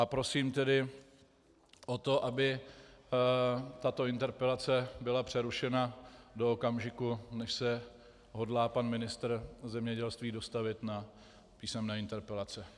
A prosím tedy o to, aby tato interpelace byla přerušena do okamžiku, než se hodlá pan ministr zemědělství dostavit na písemné interpelace.